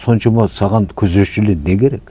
соншама саған күзетшілер не керек